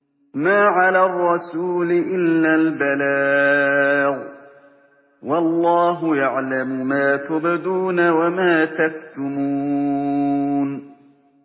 مَّا عَلَى الرَّسُولِ إِلَّا الْبَلَاغُ ۗ وَاللَّهُ يَعْلَمُ مَا تُبْدُونَ وَمَا تَكْتُمُونَ